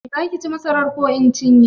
Za ki ci masarar ko in cinye?